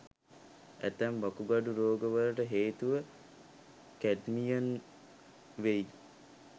ඇතැම් වකුගඩු රෝගවලට හේතුව කැඩ්මියම් වෙයි.